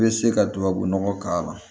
I bɛ se ka tubabunɔgɔ k'a la